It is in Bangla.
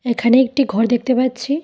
এখানে একটি ঘর দেখতে পাচ্ছি।